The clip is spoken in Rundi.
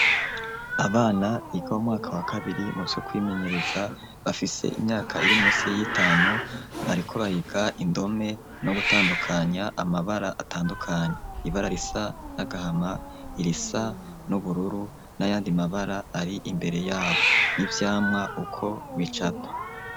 Abana biga m'umwaka wa kabiri mu vyo kwimenyereza bafise imyaka iri munsi y'itanu bariko bariga indome no gutandukanya amabara atandukanye, ibara risa n'agahama irisa n'ubururu n'ayandi mabara ari imbere yabo n'ivyamwa uko bicapa.